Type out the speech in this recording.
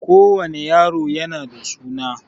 Ko wani yaro yana da suna